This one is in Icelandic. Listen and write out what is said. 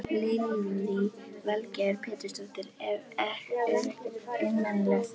Lillý Valgerður Pétursdóttir: Er ekkert einmanalegt?